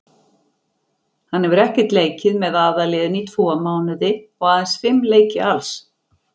Hann hefur ekkert leikið með aðalliðinu í tvo mánuði og aðeins fimm leiki alls.